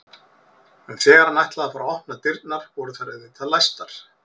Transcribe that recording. En þegar hann ætlaði að fara að opna dyrnar voru þær auðvitað læstar.